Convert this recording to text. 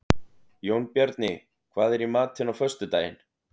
Jónbjarni, hvað er í matinn á föstudaginn?